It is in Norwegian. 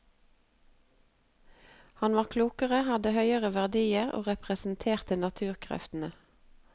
Han var klokere, hadde høyere verdier og representerte naturkreftene.